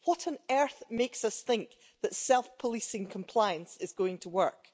What on earth makes us think that self policing compliance is going to work?